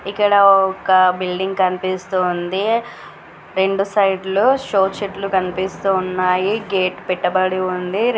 ఇక్కడ ఒక బిల్డింగ్ కనిపిస్తూ ఉంది. రెండు సైడ్ లు షో చెట్లు కనిపిస్తున్నాయి. గేట్ పెట్టబడి ఉంది.